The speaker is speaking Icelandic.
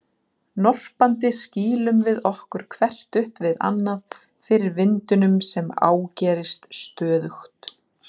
Norpandi skýlum við okkur hvert upp við annað fyrir vindinum sem ágerist stöðugt.